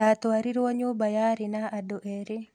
Ndatwarirwo nyũmba yarĩ na andũ erĩ.